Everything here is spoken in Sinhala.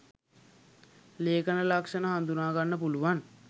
ලේඛන ලක්ෂණ හඳුනා ගන්න පුළුවන්.